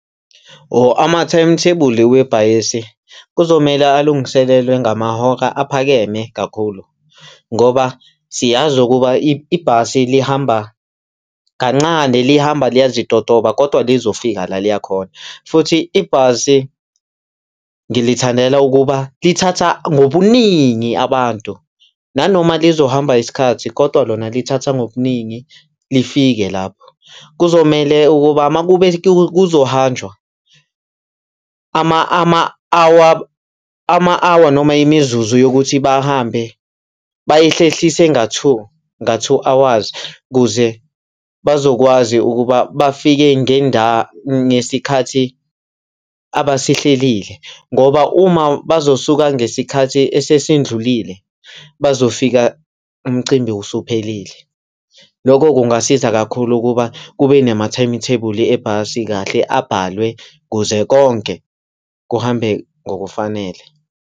Or ama-timetable webhasi kuzomele alungiselelwe ngamahora aphakeme kakhulu. Ngoba siyazi ukuba ibhasi lihamba kancane, lihamba liyazitotoba, kodwa lizofika la liyakhona futhi ibhasi ngilithandela ukuba lithatha ngobuningi abantu, nanoma lizohamba isikhathi kodwa lona lithatha ngobuningi, lifike lapho. Kuzomele ukuba uma kube kuzohanjwa ama-hour, ama-hour noma imizuzu yokuthi bahambe bayihlehlise nga-two, nga-two hours kuze bazokwazi ukuba bafike ngesikhathi abasihlelile ngoba uma bazosuka ngesikhathi esesendlulile bazofika umcimbi usuphelile. Lokho kungasiza kakhulu ukuba kube nama-timetable ebhasi kahle abhalwe kuze konke kuhambe ngokufanele.